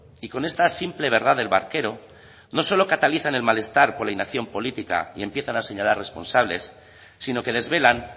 y con esta simple verdad del barquero no solo catalizan el malestar con la inacción política y empiezan a señalar responsables sino que desvelan